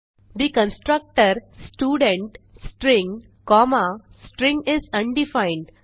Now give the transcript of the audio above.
the constructor student string comma string is undefined